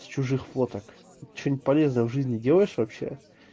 чужих фоток что-нибудь полезное в жизни делаешь вообще